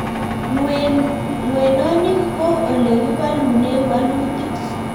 ng'wenonik ko ole kibolunen bolutik